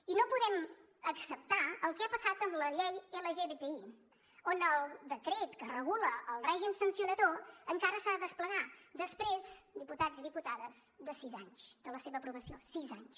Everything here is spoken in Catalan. i no podem acceptar el que ha passat amb la llei lgtbi on el decret que regula el règim sancionador encara s’ha de desplegar després diputats i diputades de sis anys de la seva aprovació sis anys